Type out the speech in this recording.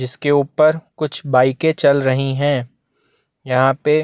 जिसके ऊपर कुछ बाइकें चल रही है यहाँ पे--